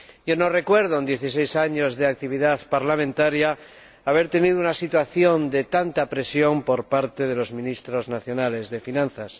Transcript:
Yo no recuerdo, en dieciséis años de actividad parlamentaria, haber tenido una situación de tanta presión por parte de los Ministros de Hacienda nacionales.